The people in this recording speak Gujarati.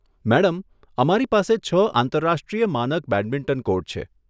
મેડમ, અમારી પાસે છ આંતરરાષ્ટ્રીય માનક બેડમિન્ટન કોર્ટ છે.